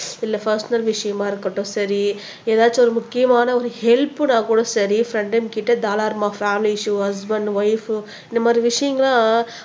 இல்ல பர்சனல் விஷயமா இருக்கட்டும் சரி ஏதாச்சும் ஒரு முக்கியமான ஒரு ஹெல்ப்னா கூட சரி ஃப்ரெண்டுங்ககிட்ட தாராளமா ஃபேமிலி இஸ்யூ ஹஸ்பண்ட் வைஃப் இந்த மாதிரி விஷயங்களை